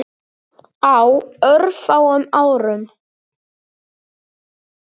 Á örfáum árum.